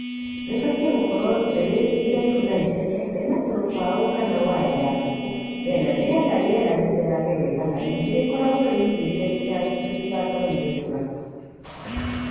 Rĩbatiĩ gũkorwo rĩrĩ iraihu na iceke , rĩna tũrũbaũ kana waya ya ngũkũ mĩena nĩgetha rĩera rĩcerage wega na ningĩ rĩkorwo rĩigite rĩtigatonyie mbura.